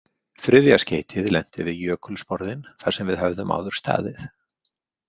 Þriðja skeytið lenti við jökulsporðinn þar sem við höfðum áður staðið.